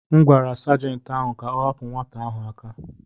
M gwara Sajentị ahụ ka ọ hapụ nwata ahụ aka.